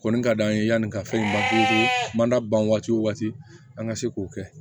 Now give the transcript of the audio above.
Kɔni ka d'an ye yanni ka fɛn ma ban waati o waati an ka se k'o kɛ